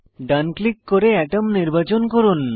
ডান click করে আতম নির্বাচন করুন